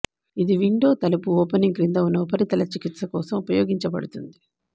ఇది విండో తలుపు ఓపెనింగ్ క్రింద ఉన్న ఉపరితల చికిత్స కోసం ఉపయోగించబడుతుంది